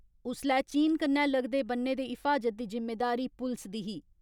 उस्सलै चीन कन्नै लगदे बन्ने दे हिफाजत दी जिम्मेदारी पुलस दी ही।